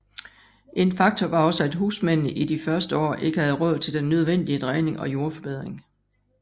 En faktor var også at husmændene i de første år ikke havde råd til den nødvendige dræning og jordforbedring